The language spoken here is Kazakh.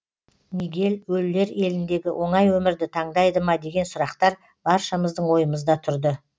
мигель өлілер еліндегі оңай өмірді таңдайды ма деген сұрақтар баршамыздың ойымызда тұрды